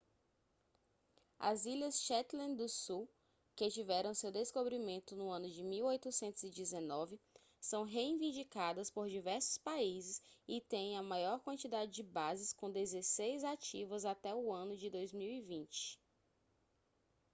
as ilhas shetland do sul que tiveram seu descobrimento no ano de 1819 são reivindicadas por diversos países e têm a maior quantidade de bases com dezesseis ativas até o ano de 2020